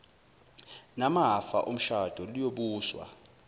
namafa omshado luyobuswa